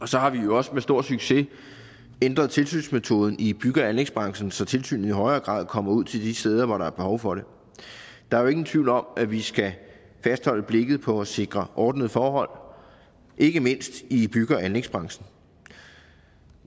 så har vi jo også med stor succes ændret tilsynsmetoden i bygge og anlægsbranchen så tilsynet i højere grad kommer ud til de steder hvor der er behov for det der er jo ingen tvivl om at vi skal fastholde blikket på at sikre ordnede forhold ikke mindst i bygge og anlægsbranchen